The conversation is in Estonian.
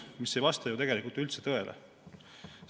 See ei vasta üldse tõele.